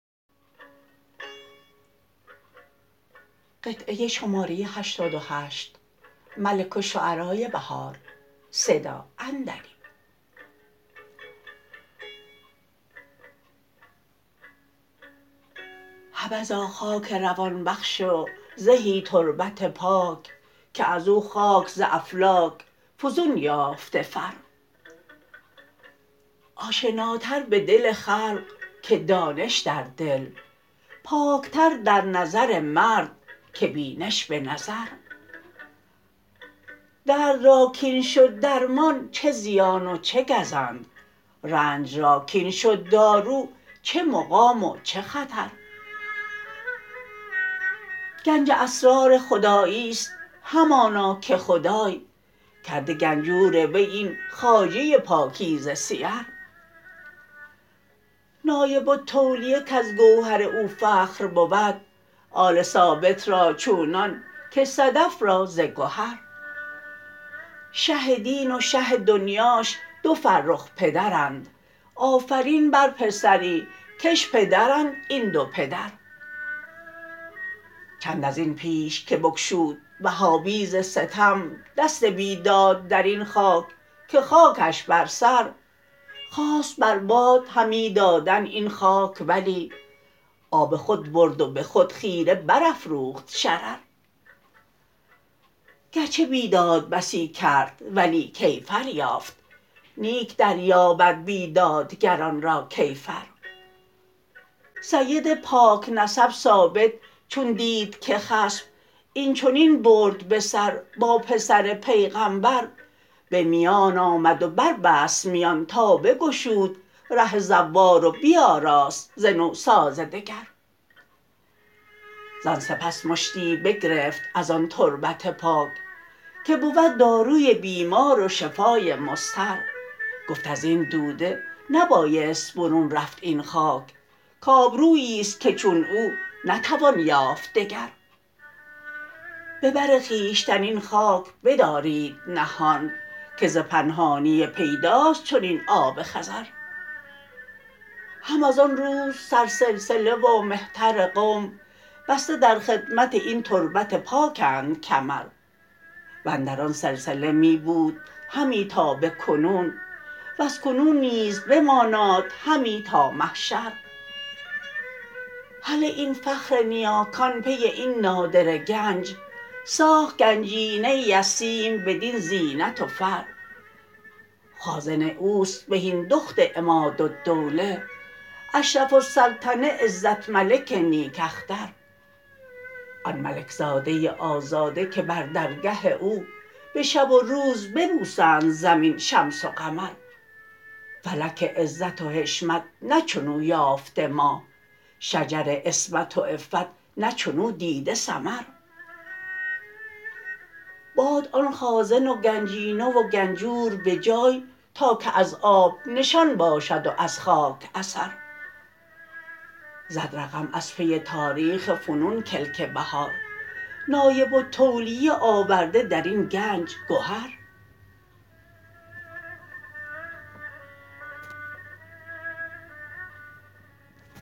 حبذا خاک روان بخش و زهی تربت پاک که از او خاک ز افلاک فزون یافته فر آشناتر به دل خلق که دانش در دل پاک تر در نظر مرد که بینش به نظر درد را کاین شد درمان چه زیان و چه گزند رنج را کاین شد دارو چه مقام و چه خطر گنج اسرار خداییست همانا که خدای کرده گنجور وی این خواجه پاکیزه سیر نایب التولیه کزگوهر او فخر بود آل ثابت را چونان که صدف را زگهر شه دین و شه دنیاش دو فرخ پدرند آفرین بر پسری کش پدرند این دو پدر چند از این پیش که بگشود وهابی ز ستم دست بیداد در این خاک که خاکش بر سر خواست بر باد همی دادن این خاک ولی آب خود برد و به خود خیره برافروخت شرر گرچه بیداد بسی کرد ولی کیفر یافت نیک در یابد بیدادگران را کیفر سید پاک نسب ثابت چون دیدکه خصم این چنین برد به سربا پسرپیغمبر به میان آمد و بربست میان تا بگشود ره زوار و بیاراست ز نوساز دگر زان سپس مشتی بگرفت از آن تربت پاک که بود داروی بیمار و شفای مضطر گفت از این دوده نبایست برون رفت این خاک کابرویی است که چون او نتوان یافت دگر به بر خویشتن این خاک بدارید نهان که زپنهانی پیداست چنین آب خضر هم ازآن روز سر سلسله ومهتر قوم بسته در خدمت این تربت پاکندکمر وندران سلسله می بود همی تا به کنون وزکنون نیز بماناد همی تا محشر هله این فخر نیاکان پی این نادره گنج ساخت گنجینه ای از سیم بدین زینت و فر خازن او است بهین دخت عمادالدوله اشرف السلطنه عزت ملک نیک اختر آن ملک زاده آزاده که بر درگه او به شب و روز ببوسند زمین شمس وقمر فلک عزت و حشمت نه چنو یافته ماه شجر عصمت و عفت نه چنو دیده ثمر باد آن خازن وگنجینه وگنجور به جای تاکه از آب نشان باشد و از خاک اثر زد رقم از پی تاربخ فنون کلک بهار نایب التولیه آورده در این گنج گهر